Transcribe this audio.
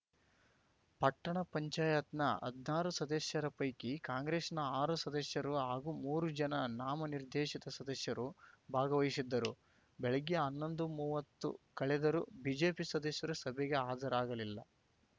ಪಟ್ಟಣ ಪಂಚಾಯತ್ ನ ಹದ್ನಾರು ಸದಸ್ಯರ ಪೈಕಿ ಕಾಂಗ್ರೆಸ್‌ನ ಆರು ಸದಸ್ಯರು ಹಾಗೂ ಮೂರು ಜನ ನಾಮ ನಿರ್ದೇಶಿತ ಸದಸ್ಯರು ಭಾಗವಹಿಸಿದ್ದರು ಬೆಳಗ್ಗೆ ಹನ್ನೊಂದುಮೂವತ್ತು ಕಳೆದರೂ ಬಿಜೆಪಿ ಸದಸ್ಯರು ಸಭೆಗೆ ಹಾಜರಾಗಲಿಲ್ಲ